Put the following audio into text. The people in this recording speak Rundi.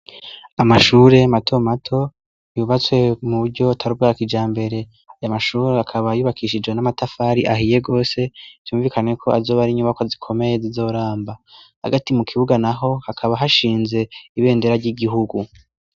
Amashure mato mato yubatswe mu bryo tarbwaka ija mbere ya mashuri akaba yubakishijwe n'amatafari ahiye gose byumvikane ko azoba ari inyubako zikomeye zoramba hagati mu kibuga naho hakaba hashinze ibendera ry'igihugu.